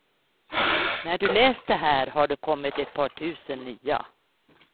När du läst det här har det kommit ett par tusen nya.